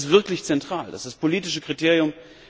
Das ist wirklich zentral, das ist das politische Kriterium.